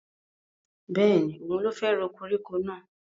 Bẹ́ẹ̀ni, òun ló fẹ́ ro koríko náà